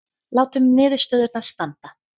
Látum niðurstöðurnar standa